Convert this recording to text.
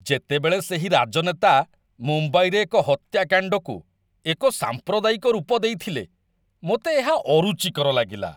ଯେତେବେଳେ ସେହି ରାଜନେତା ମୁମ୍ବାଇରେ ଏକ ହତ୍ୟାକାଣ୍ଡକୁ ଏକ ସାମ୍ପ୍ରଦାୟିକ ରୂପ ଦେଇଥିଲେ, ମୋତେ ଏହା ଅରୁଚିକର ଲାଗିଲା